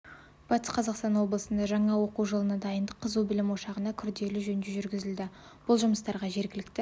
батыс қазақстан облысында жаңа оқу жылына дайындық қызу білім ошағына күрделі жөндеу жүргізілді бұл жұмыстарға жергілікті